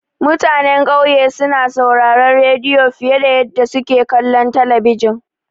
Mutanan ƙauye suna sauraron rediyo fiye da yadda suke kallon talabijin.